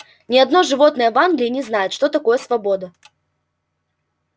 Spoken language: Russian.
ни одно животное в англии не знает что такое свобода